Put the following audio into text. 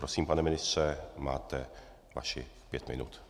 Prosím pane ministře, máte vašich pět minut.